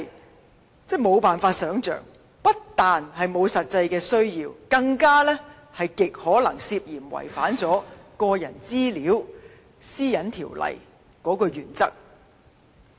這簡直無法想象，不但沒有實際需要，更極有可能涉嫌違反《個人資料條例》的原則。